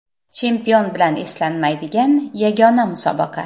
Chempion bilan eslanmaydigan yagona musobaqa.